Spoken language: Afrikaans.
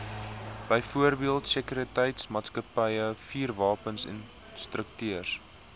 byvoorbeeld sekuriteitsmaatskappye vuurwapeninstrukteurs